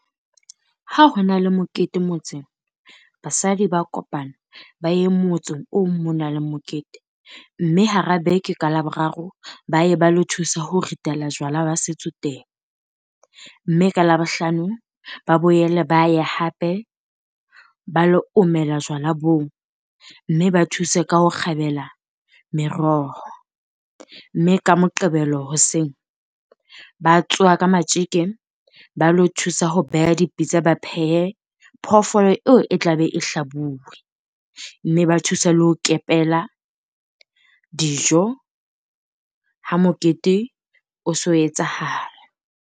Ha ho na le mokete motseng, basadi ba kopana ba ye motseng oo mo nang le mokete. Mme hara beke, ka Laboraro ba ye ba lo thusa ho ritela jwala ba setso teng. Mme ka Labohlano ba boyele ba ye hape ba lo omela jwala boo. Mme ba thuse ka ho kgabela meroho. Mme ka Moqebelo hoseng ba tsoha ka matjeke ba lo thusa ho beha dipitsa. Ba phehe phoofolo eo e tla be e hlabuwe. Mme ba thusa le ho kepela dijo ha mokete o se o etsahala.